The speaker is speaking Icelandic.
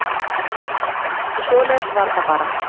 Svoleiðis var það bara.